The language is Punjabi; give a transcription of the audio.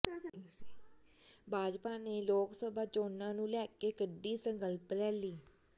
ਭਾਜਪਾ ਨੇ ਲੋਕ ਸਭਾ ਚੋਣਾਂ ਨੂੰ ਲੈ ਕੇ ਕੱਢੀ ਸੰਕਲਪ ਰੈਲੀ